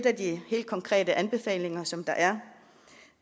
af de helt konkrete anbefalinger som der er